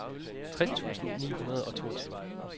tres tusind ni hundrede og toogtyve